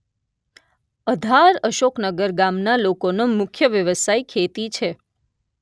અઘાર અશોકનગર ગામના લોકોનો મુખ્ય વ્યવસાય ખેતી છે